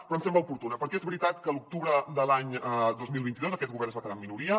però em sembla oportuna perquè és veritat que l’octubre de l’any dos mil vint dos aquest govern es va quedar en minoria